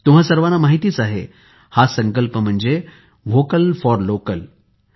तुम्हां सर्वांना माहीतच आहे हा संकल्प आहे व्होकल फॉर लोकल